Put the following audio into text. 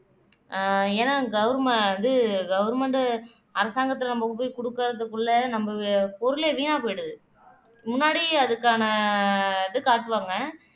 ஆஹ் ஏன்னா government இது government அரசாங்கத்தில நமக்கு போய் குடுக்குறதுக்குள்ள நம்ம பொருளே வீணா போயிடுது முன்னாடி அதுக்கான இது காட்டுவாங்க